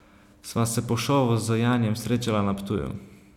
Sva se pa po šovu z Janijem srečala na Ptuju.